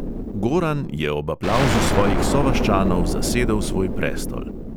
Goran je ob aplavzu svojih sovaščanov zasedel svoj prestol.